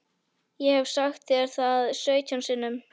Ég hef sagt þér það sautján sinnum.